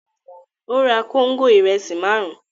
Ó ra kóńgò ìrẹsì márùn-ún.